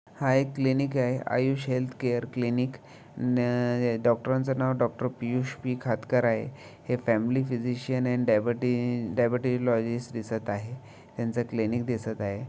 हा एक क्लिनिक आहे आयुष हेल्थ केअर क्लिनिक न अ डॉक्टरांच नाव डॉक्टर पियुष पी खातकर आहे हे फॅमिली फ़िजिशिअन आणि डायबीटी डायबिटीलॉजिस्ट दिसत आहे यांच क्लिनिक दिसत आहे.